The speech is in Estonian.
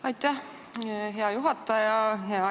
Aitäh, hea juhataja!